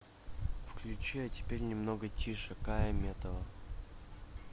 включи а теперь немного тише кая метова